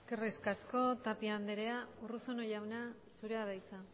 eskerrik asko tapia andrea urruzuno jauna zurea da hitza